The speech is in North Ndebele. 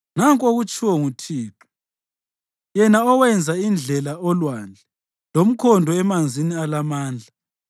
Nanku akutshoyo uThixo, yena owenza indlela olwandle lomkhondo emanzini alamandla,